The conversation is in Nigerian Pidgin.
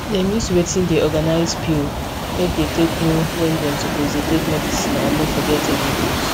dem use wetin dey organize pill make dey take know when dem suppose take medicine and no forget any dose